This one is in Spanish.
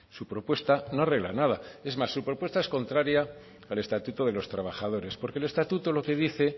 su propuesta no arregla nada es más su propuesta es contraria del estatuto de los trabajadores porque el estatuto lo que dice